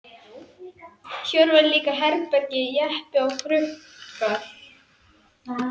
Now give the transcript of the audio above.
Hér voru líka herbílar, jeppar og trukkar.